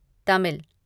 Tamil